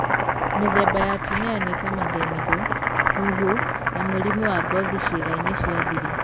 Mĩthemba ya tinea nĩ ta mathemithũ, kuhũ na mũrimũ wa ngothi ciĩga-inĩ cia thiri.